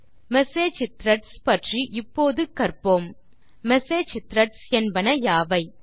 message threads பற்றி இப்போது கற்போம் மெசேஜ் த்ரெட்ஸ் என்பன யாவை